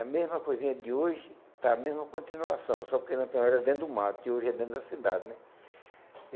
A mesma coisinha de hoje está a mesma continuação, só porque Lampião era dentro do mato e hoje é dentro da cidade, né?